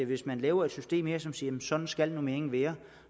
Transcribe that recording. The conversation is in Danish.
hvis man laver et system her som siger at sådan skal normeringen være